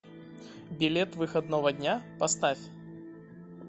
билет выходного дня поставь